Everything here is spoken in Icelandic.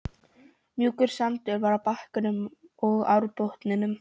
Mjúkur sandur var á bakkanum og árbotninum.